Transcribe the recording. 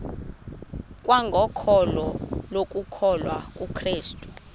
kwangokholo lokukholwa kukrestu